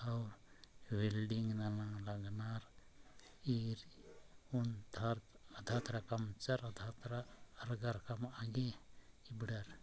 और वेल्डिंग नामार लगनर ईर उन धत अद्यत रकम आने ईबढर।